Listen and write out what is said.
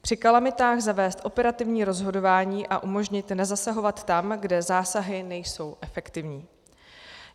Při kalamitách zavést operativní rozhodování a umožnit nezasahovat tam, kde zásahy nejsou efektivní.